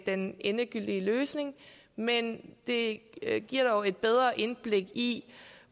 den endegyldige løsning men det giver dog et bedre indblik i